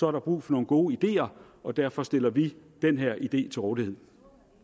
er god brug for nogle gode ideer og derfor stiller vi den her idé til rådighed